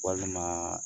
Walima